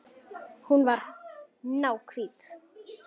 Hún var náhvít.